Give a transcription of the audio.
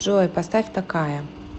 джой поставь такая